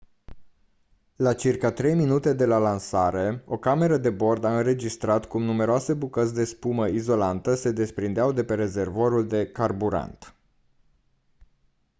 la circa 3 minute de la lansare o cameră de la bord a înregistrat cum numeroase bucăți de spumă izolantă se desprindeau de rezervorul de carburant